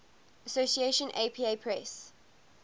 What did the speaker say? association apa press